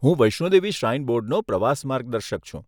હું વૈષ્ણો દેવી શ્રાઇન બોર્ડનું પ્રવાસ માર્ગદર્શક છું.